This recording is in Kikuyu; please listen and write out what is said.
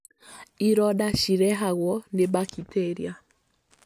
ironda cirehagwo nĩ bakiteria.